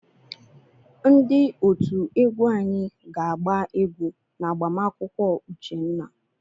Ndị otú egwu anyị ga-agba egwu n'agbamakwụkwọ Uchenna.